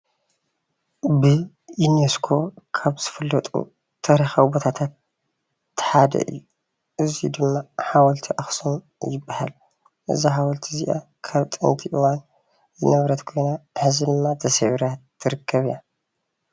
ብዩኔስኮ ካብ ዝፍለጡ ታሪካዊ ቦታታት ሓደ እዩ እዚ ድማ ሓወልቲ አክሱም ይበሃል። እዚ ሓወልቲ እዚኣ ካብ ጥንቲ እዋን ዝነበረት ኾይና ሐዚ ድማ ተሰቢራ ትርከብ እያ።